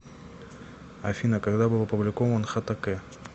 афина когда был опубликован хтк